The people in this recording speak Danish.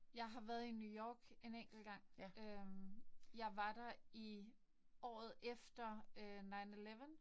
Jeg har været i New York en enkelt gang. Øh jeg var der i året efter øh nine eleven